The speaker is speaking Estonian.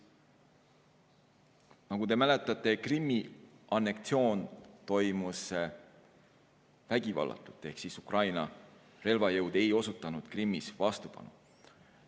Nagu te mäletate, Krimmi anneksioon toimus vägivallatult ehk Ukraina relvajõud ei osutanud Krimmis vastupanu.